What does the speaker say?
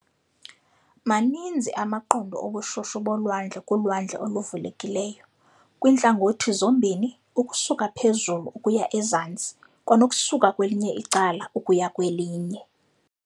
Maninzi amaqondo obushushu bolwandle kulwandle oluvulekileyo, kwintlangothi zombini - ukusuka phezulu ukuya ezantsi, kwanokusuka kwelinye icala ukuya kwelinye.